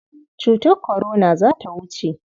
Cutar kwarona za ta wuce.